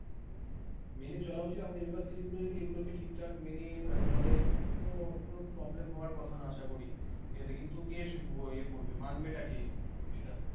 মেনে চলা উচিত university গুলো যদি ঠিকঠাক মেনে চলে তো problem হওয়ার কথা না আশা করি এতে কিন্তু বেশি ইয়ে করবে মানবেটা কে এটা ।